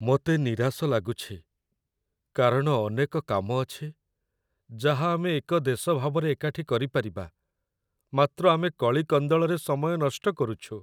ମୋତେ ନିରାଶ ଲାଗୁଛି, କାରଣ ଅନେକ କାମ ଅଛି, ଯାହା ଆମେ ଏକ ଦେଶ ଭାବରେ ଏକାଠି କରିପାରିବା, ମାତ୍ର ଆମେ କଳି କନ୍ଦଳରେ ସମୟ ନଷ୍ଟ କରୁଛୁ।